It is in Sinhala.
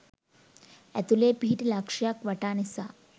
ඇතුලේ පිහිටි ලක්ෂයයක් වටා නිසා